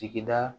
Sigida